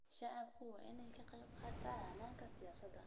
Shacabku waa in ay ka qaybqaataan hannaanka siyaasadda.